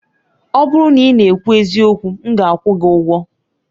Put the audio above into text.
Ọ bụrụ na ị na-ekwu eziokwu, m ga-akwụ gị ụgwọ.